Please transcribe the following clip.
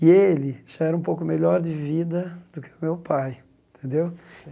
E ele já era um pouco melhor de vida do que o meu pai, entendeu? Sei